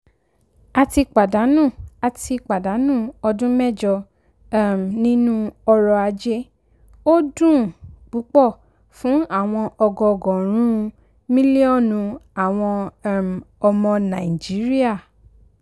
a ti a ti pàdánù ọdún mẹjọ um nínú ọrọ ajé; ó dùn ún púpọ̀ fún àwọn ọgọọgọ́rùn-ún mílíọ̀nù àwọn um ọmọ nàìjíríà